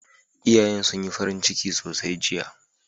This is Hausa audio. Iyayen sun yi farin ciki sosai jiya.